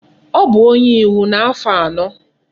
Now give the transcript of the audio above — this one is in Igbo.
O bu onye iwu na afo ano